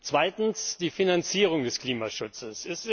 Zweitens Die Finanzierung des Klimaschutzes.